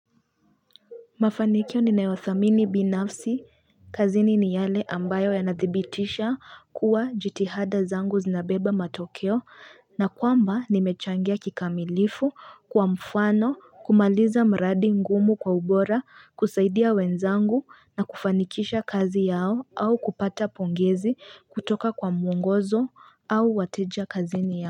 Mafanikio ni nayothamini binafsi kazini ni yale ambayo yanadhibitisha kuwa jitihada zangu zinabeba matokeo na kwamba nimechangia kikamilifu kwa mfano kumaliza mradi ngumu kwa ubora kusaidia wenzangu na kufanikisha kazi yao au kupata pongezi kutoka kwa muongozo au wateja kazini yao.